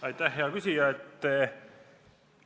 Aitäh, hea küsija!